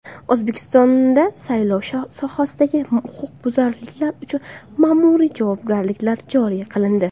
O‘zbekistonda saylov sohasidagi huquqbuzarliklar uchun ma’muriy javobgarliklar joriy qilindi.